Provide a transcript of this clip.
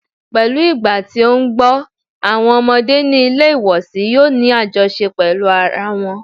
Pẹ̀lú ìgbà tí ó ń gbọ́, àwọn ọmọdé ní ilé ìwòsí yòó ní àjọṣe pẹ́lú ara wọn.